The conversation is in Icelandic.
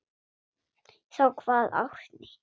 Þá kvað Árni: